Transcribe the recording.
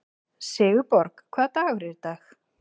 Sigurborg, hvaða dagur er í dag?